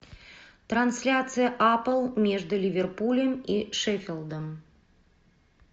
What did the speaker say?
трансляция апл между ливерпулем и шеффилдом